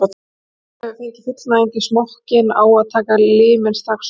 Þegar maðurinn hefur fengið fullnægingu í smokkinn á að taka liminn strax út.